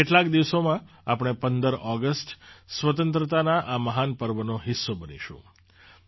હવે કેટલાક દિવસોમાં આપણે ૧૫ ઑગસ્ટ સ્વતંત્રતાના આ મહાન પર્વનો હિસ્સો બનીશું